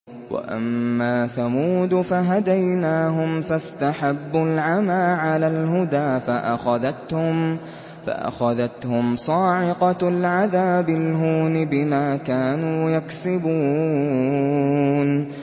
وَأَمَّا ثَمُودُ فَهَدَيْنَاهُمْ فَاسْتَحَبُّوا الْعَمَىٰ عَلَى الْهُدَىٰ فَأَخَذَتْهُمْ صَاعِقَةُ الْعَذَابِ الْهُونِ بِمَا كَانُوا يَكْسِبُونَ